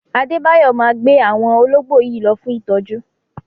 Adébáyò máa gbé àwọn ológbò yìí lọ fún ìtọ́jú.